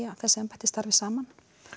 að þessi embætti starfa saman